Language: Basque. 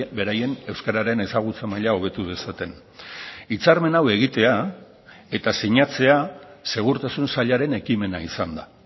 beraien euskararen ezagutza maila hobetu dezaten hitzarmen hau egitea eta sinatzea segurtasun sailaren ekimena izan da